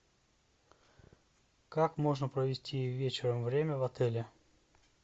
как можно провести вечером время в отеле